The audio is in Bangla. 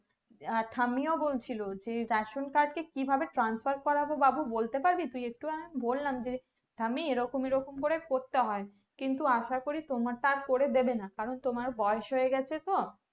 যে ঠাম্মিও বলছিলো যে ration card কে কি ভাবে transfer করবো বাবু বলতে পারবি তুই একটু আমি বললাম যে ঠাম্মি এরকম এরকম করে করতে হয় কিন্তু আশা করি তোমারটা আর করে দিবেনা কারণ তোমার বয়স হয়ে গেছে তো